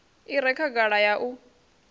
i re khagala ya u